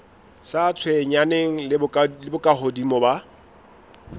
sa tshwenyaneng le bokahodimo ba